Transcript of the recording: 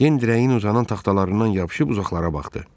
Den dirəyin uzanan taxtalarından yapışıb uzaqlara baxdı.